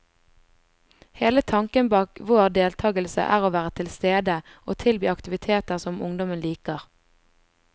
Hele tanken bak vår deltagelse er å være tilstede, og tilby aktiviteter som ungdommen liker.